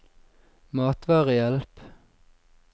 matvarehjelp